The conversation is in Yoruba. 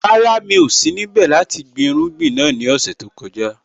Rárá, mi ò sí níbẹ̀ láti gbin irúgbìn náà ní ọ̀sẹ̀ tó kọjá.